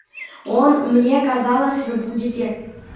он мне казалось вы будете